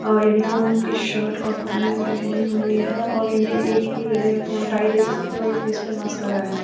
और यूनिफॉर्म की शर्ट और पैंट पहनी हुई है और उनके एक के गले में तो हम टाई देख सकते हैं और एक के फेस पे मास्क लगाया हुआ है।